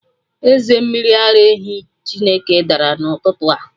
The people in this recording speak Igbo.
Eze mmiri ara ehi Chineke dara n'ụtụtụ a